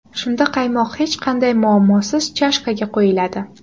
Shunda qaymoq hech qanday muammosiz chashkaga quyiladi.